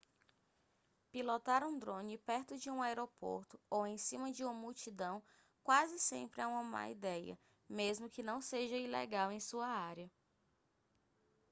pilotar um drone perto de um aeroporto ou em cima de uma multidão quase sempre é uma má ideia mesmo que não seja ilegal em sua área